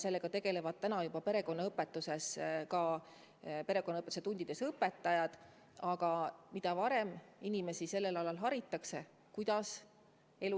Sellega tegelevad perekonnaõpetuse tundides ka õpetajad ja mida varem inimesi sellel alal harima hakatakse, seda parem.